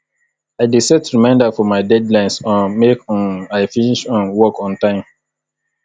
i dey set reminder for my deadlines um make um i finish um work on time